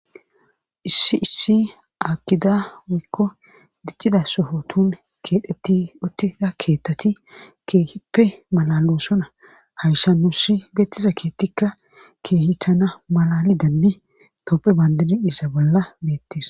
Issi issi akida wakko diccida sohotun keedhetti ottisa keettati keehippe malalossona hawshanusi beettiza keettikka keehi tana malalidenne toppe bandini iisa bolla beettis.